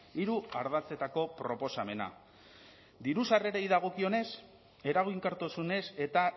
hiru ardatzetako proposamena diru sarrerei dagokionez eraginkortasunez eta